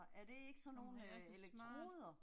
Mh han er så smart